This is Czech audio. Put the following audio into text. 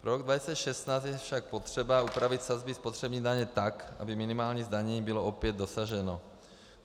Pro rok 2016 je však potřeba upravit sazby spotřební daně tak, aby minimálního zdanění bylo opět dosaženo.